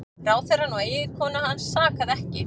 Ráðherrann og eiginkonu hans sakaði ekki